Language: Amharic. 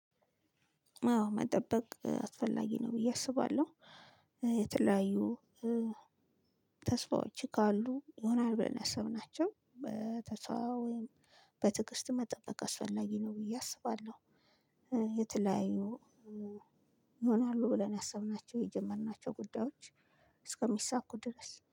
አዎ መጠበቅ አስፈላጊ ነው ብዬ አስባለሁ። የተለያዩ ተስፋዎች ካሉ ይሆናል ብለን ያሰብናቸው በተስፋ ወይም በትግስት መጠበቅ አስፈላጊ ነው ብዬ አስባለሁ። የተለያዩ ይሆናሉ ብለን ያሰብናቸው የጀመርናቸው ጉዳዮች እስከሚሳኩ ድረስ